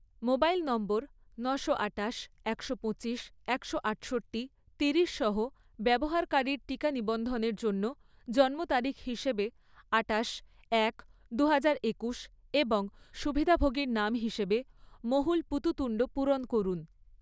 Mobile number নশো আঠাশ, একশো পঁচিশ, একশো আটষট্টি, তিরিশ সহ ব্যবহারকারীর টিকা নিবন্ধনের জন্য জন্মতারিখ হিসেবে আঠাশ এক দুহাজার একুশ এবং সুবিধাভোগীর নাম হিসেবে মহুল পুততুন্ড পূরণ করুন।